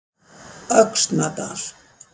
Öxnadal